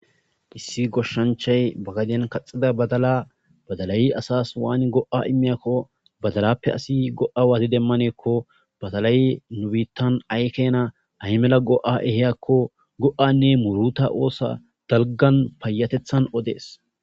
Issi goshshanchchay ba gadden kaxida badala badalay asas waani go'a immizako badalappe asi go'a wati demanako badalay nu biittan ay kena ay mala go'a ehiyakko go'anne muuruta oso payateththa odes.